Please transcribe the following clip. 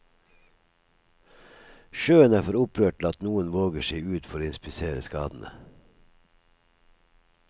Sjøen er for opprørt til at noen våger seg ut for å inspisere skadene.